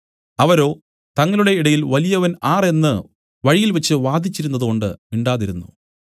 അവരോ തങ്ങളുടെ ഇടയിൽ വലിയവൻ ആർ എന്നു വഴിയിൽവെച്ചു വാദിച്ചിരുന്നതുകൊണ്ടു മിണ്ടാതിരുന്നു